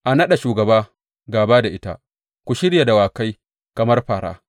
A naɗa shugaba gāba da ita; ku shirya dawakai kamar fāra.